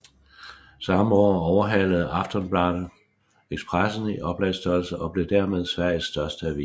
Samme år overhalede Aftonbladet Expressen i oplagsstørrelse og blev dermed Sveriges største avis